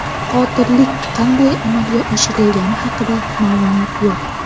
Qotillik qanday amalga oshirilgani haqida ma’lumot yo‘q.